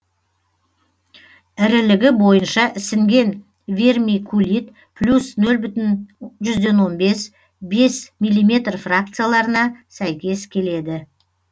ірілігі бойынша ісінген вермикулит плюс нөл бүтін жүзден он бес бес миллиметр фракцияларына сәйкес келеді